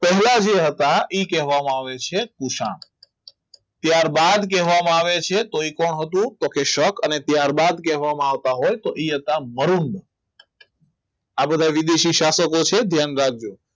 પહેલા જે હતા એ જ કહેવામાં આવે છે ત્યારબાદ કહેવામાં આવે છે તો એ પણ હતું એ શક અને ત્યારબાદ કહેવામાં આવતા હોય તો એ હતા મરુન આ બધા વિદેશી સ્થાપકો છે ધ્યાન રાખજો